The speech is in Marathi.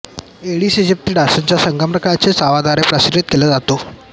एडीस इजिप्ती डासाच्या संक्रमणात्मक चाव्याव्दारे तो प्रसारित केला जातो